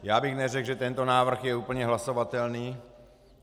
Já bych neřekl, že tento návrh je úplně hlasovatelný.